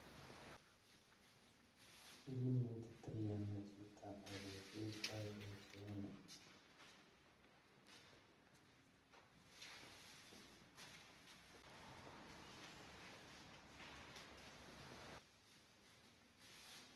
Inetitoi ano chito olekiyoito boishonii